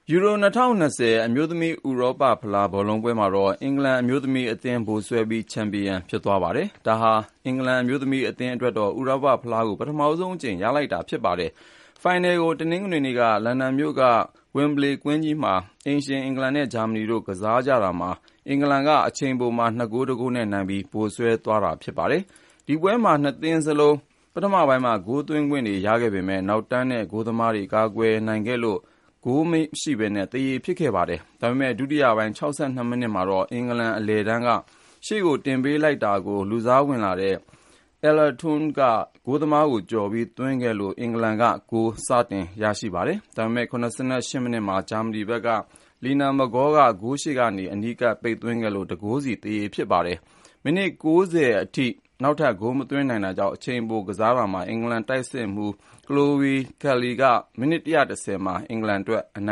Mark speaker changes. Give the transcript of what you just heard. Speaker 1: ယူရို ၂၀၂၂ အမျိုးသမီး ဥရောပဖလား ဘောလုံးပွဲမှာတော့ အင်္ဂလန်အမျိုးသမီးအသင်း ဗိုလ်စွဲပြီး ချန်ပီယံဖြစ်သွားပါတယ်။ ဒါဟာ အင်္ဂလန်အမျိုးသမီးအသင်းအတွက်တော့ ဥရောပဖလားကို ပထမဆုံးအကြိမ် ရလိုက်တာဖြစ်ပါတယ်။ ဖိုင်နယ်ကို တနင်္ဂနွေနေ့က လန်ဒန်မြို့က ဝင်ဘလေကွင်းကြီးမှာ အိမ်ရှင် အင်္ဂလန် နဲ့ ဂျာမနီတို့ ကစားကြတာမှာ အင်္ဂလန်က အချိန်ပိုမှာ ၂ ဂိုး ၁ ဂိုး နဲ့နိုင်ပြီး ဗိုလ်စွဲသွားခဲ့တာဖြစ်ပါတယ်။ ဒီပွဲမှာ ၂ သင်းစလုံး ပထမပိုင်းမှာ ဂိုးသွင်းခွင့်တွေရခဲ့ပေမယ့် နောက်တန်း နဲ့ ဂိုးသမားတွေ ကာကွယ်နိုင်ခဲ့လို့ ဂိုးမရှိသရေဖြစ်ခဲ့ပါတယ်။ ဒါပေမဲ့ ဒုတိယပိုင်း ၆၂ မိနစ်မှာတော့ အင်္ဂလန်အလယ်တန်းက ရှေ့ကိုတင်ပေးလိုက်တာကို လူစားဝင်လာတဲ့ Ella Toone က ဂိုးသမားကို ကျော်ပြီး သွင်းခဲ့လို့ အင်္ဂလန်က ဂိုးစရပါတယ်။ ဒါပေမဲ့ ၇၈ မိနစ်မှာတော့ ဂျာမနီဘက်က Lina Magull က ဂိုးရှေ့နေ အနီးကပ်ပိတ်သွင်းလို့ ၁ ဂိုးစီ သရေဖြစ်ပါတယ်။ မိနစ် ၉၀ အထိ နောက်ထပ် ဂိုးမသွင်းနိုင်တာကြောင့် အချိန်ပိုကစားကြတာမှာ အင်္ဂလန် တိုက်စစ်မှူး Chloe Kelly က မိနစ် ၁၁၀ မှာ အင်္ဂလန်အတွက် အန